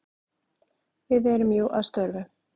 Við erum jú að störfum.